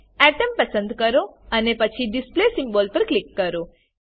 atom પસંદ કરો અને પછી ડિસ્પ્લે સિમ્બોલ પર ક્લિક કરો